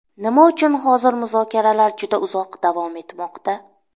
Nima uchun hozir muzokaralar juda uzoq davom etmoqda?